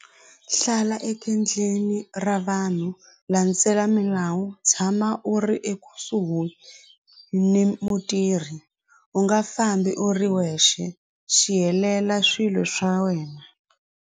Hlala ra vanhu landzela milawu tshama u ri ekusuhi ni mutirhi u nga fambi u ri wexe swi helela swilo swa wena.